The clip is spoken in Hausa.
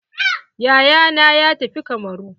Yayana ya tafi kamaru.